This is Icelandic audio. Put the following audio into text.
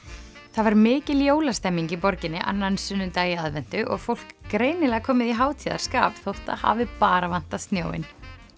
það var mikil jólastemning í borginni annan sunnudag í aðventu og fólk greinilega komið í hátíðarskap þótt það hafi bara vantað snjóinn